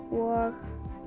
og